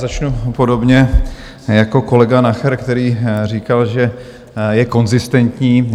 Začnu podobně jako kolega Nacher, který říkal, že je konzistentní.